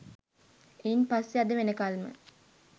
එයින් පස්සේ අද වෙනකල්ම